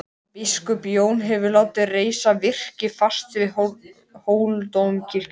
Biskup Jón hefur látið reisa virki fast við Hóladómkirkju.